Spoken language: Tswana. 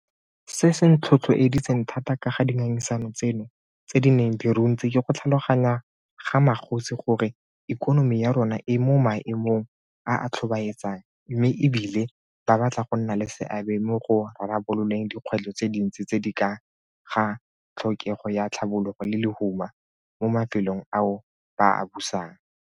Se se nthotlhoeditseng thata ka ga dingangisano tseno tse di neng di runtse ke go tlhaloganya ga magosi gore ikonomi ya rona e mo maemong a a tlhobaetsang mme e bile ba batla go nna le seabe mo go rarabololeng dikgwetlho tse dintsi tse di ka ga tlhokego ya tlhabologo le lehuma mo mafelong ao ba a busang.